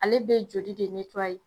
Ale be jeli de netuwaye